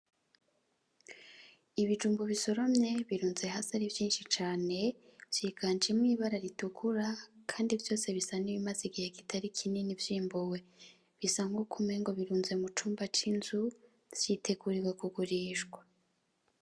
Ibijumbu bisoromye birunze hasi ari vyinshi cane vyiganjimwo ibara ritukura, kandi vyose bisa n'ibimaze igihe kitari kinini vyimbuwe bisa nkuko umengo birunze mu cumba c'inzu vyitegurirwe kugurishwa.